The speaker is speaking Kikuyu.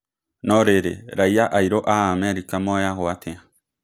No rĩrĩ raiya airũ a Amerika moyaguo atĩa ?